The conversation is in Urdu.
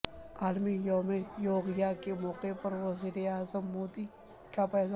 عالمی یوم یوگا کے موقع پر وزیر اعظم مودی کا پیام